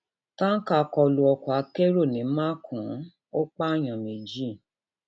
tanka kọ lu um ọkọ akẹrọ ní makùn um ó pààyàn méjì